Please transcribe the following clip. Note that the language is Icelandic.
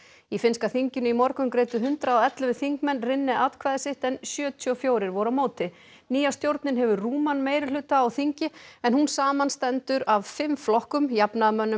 í finnska þinginu í morgun greiddu hundrað og ellefu þingmenn atkvæði sitt en sjötíu og fjórir voru á móti nýja stjórnin hefur rúman meirihluta á þingi en hún samanstendur af fimm flokkum jafnaðarmönnum